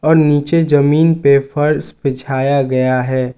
नीचे जमीन पे फर्श बिछाया गया है।